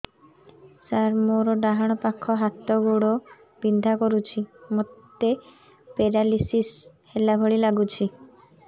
ସାର ମୋର ଡାହାଣ ପାଖ ହାତ ଗୋଡ଼ ବିନ୍ଧା କରୁଛି ମୋତେ ପେରାଲିଶିଶ ହେଲା ଭଳି ଲାଗୁଛି